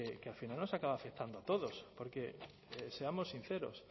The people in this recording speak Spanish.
que al final nos acaba afectando a todos porque seamos sinceros